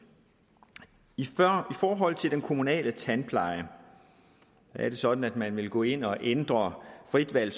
i forhold til den kommunale tandpleje er det sådan at man vil gå ind og ændre frit valg